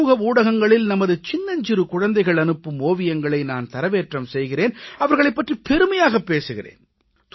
சமூக ஊடகங்களில் நமது சின்னஞ்சிறு குழந்தைகள் அனுப்பும் ஓவியங்களை நான் தரவேற்றம் செய்கிறேன் அவர்களைப் பற்றிப் பெருமையாகப் பேசுகிறேன்